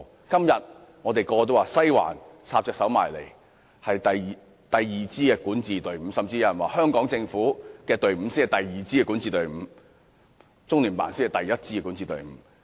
今天，我們所有人都說"西環"插手香港事務，是香港第二支管治隊伍，甚至有人說香港政府才是第二支管治隊伍，中聯辦是第一支管治隊伍。